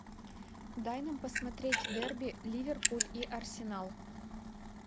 дай нам посмотреть дерби ливерпуль и арсенал